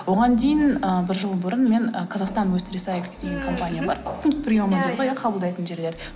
оған дейін ы бір жыл бұрын мен і қазақстан уэстрисайкл деген компания бар пункт приема дейді ғой иә қабылдайтын жерлер